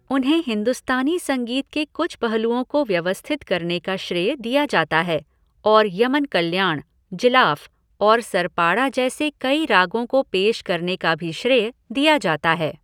उन्हें हिंदुस्तानी संगीत के कुछ पहलुओं को व्यवस्थित करने का श्रेय दिया जाता है और यमन कल्याण, जिलाफ और सरपाड़ा जैसे कई रागों को पेश करने का भी श्रेय दिया जाता है।